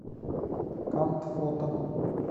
кант фото